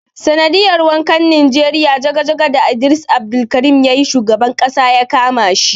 Sanadiyar wakan nijeriya jaga-jaga da Idris Abdulkarim yayi shugaban Ƙasa yakama shi.